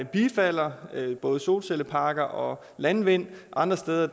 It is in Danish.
bifalder både solcelleparker og landvind og andre steder